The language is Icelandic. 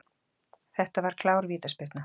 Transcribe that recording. Þetta var klár vítaspyrna.